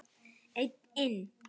Einn inn.